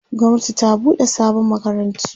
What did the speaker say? gwamnati ta buɗe sabon makarantu